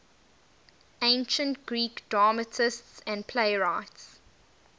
ancient greek dramatists and playwrights